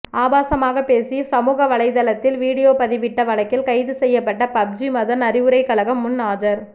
ஆபாசமாக பேசி சமூகவலைத்தளத்தில் வீடியோ பதிவிட்ட வழக்கில் கைது செய்யப்பட்ட பப்ஜி மதன் அறிவுரை கழகம் முன் ஆஜர்